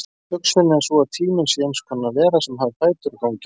Hugsunin er sú að tíminn sé eins konar vera sem hafi fætur og gangi áfram.